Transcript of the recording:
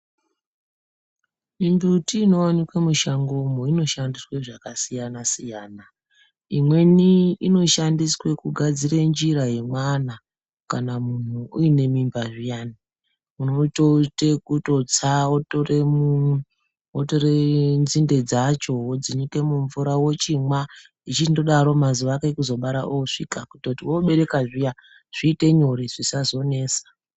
Mimbiti inowanikwa mushango umwo inoshandiswa zvakasiyana siyana. Imwe Inoshandiswa kugadzire njira yemwana kana munhu uine mimba zviyani. Unotoite kutotsa wotore nzinde dzacho wonyike mumvura wotomwa uchindodaro mazuwa ekuzobara osvika kuti wobereka zviya zviite nyore zvisazonesa.